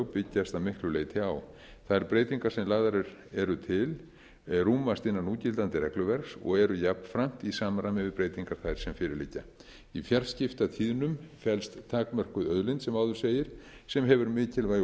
byggjast að miklu leyti á þær breytingar sem lagðar eru til rúmast innan núgildandi regluverks og eru jafnframt í samræmi við breytingar þær sem fyrir liggja í fjarskiptatíðnum felst takmörkuð auðlind sem áður segir sem hefur mikilvægu